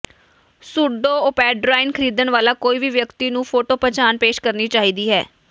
pseudoephedrine ਖਰੀਦਣ ਵਾਲਾ ਕੋਈ ਵੀ ਵਿਅਕਤੀ ਨੂੰ ਫੋਟੋ ਪਛਾਣ ਪੇਸ਼ ਕਰਨੀ ਚਾਹੀਦੀ ਹੈ